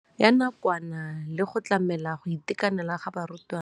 Ya nakwana le go tlamela go itekanela ga barutwana.